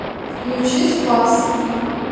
включи спас